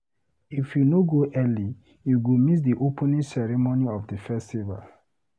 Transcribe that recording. If you no go early, you go miss di opening ceremony of di festival.